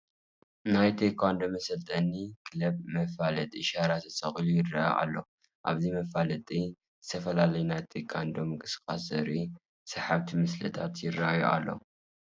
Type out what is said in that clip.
ናይ ቴዃንዶ መሰልጠኒ ክለብ መፋለጢ ሻራ ተሰቒሉ ይርአ ኣሎ፡፡ ኣብዚ መፋለጢ ዝተፈላለዩ ናይ ቴዃንዶ ምንቅስቓሳት ዘርእዩ ሰሓብቲ ምስልታት ይርአዩ ኣለዉ፡፡